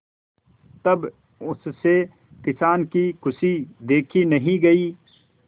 तब उससे किसान की खुशी देखी नहीं गई